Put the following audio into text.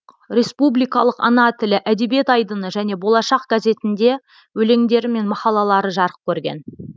республикалық ана тілі әдебиет айдыны және болашақ газетінде өлеңдері мен мақалалары жарық көрген